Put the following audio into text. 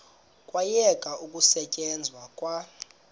kwayekwa ukusetyenzwa kwa